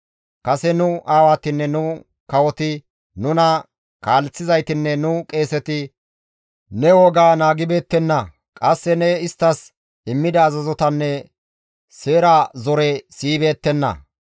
Kase nu aawatinne nu kawoti, nuna kaaleththizaytinne nu qeeseti ne wogaa naagibeettenna; qasse ne isttas immida azazotanne seera zore siyibeettenna.